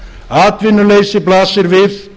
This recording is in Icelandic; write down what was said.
atvinnuleysi blasir við